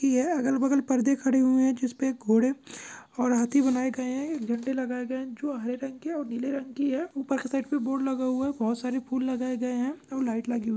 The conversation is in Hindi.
की हे अगल बगल परदे खड़े हुए जिसपे घोड़े और हाथी बनाये गए है झंडे लगाए गए है जो हरे रंग की और नीले रंग की है उपर के साइड मे बोर्ड लगा हुआ है बहुत सारी फूल लगाए गए है और लाइट लगी हुई--